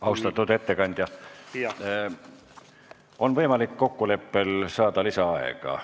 Austatud ettekandja, kokkuleppel on võimalik saada lisaaega.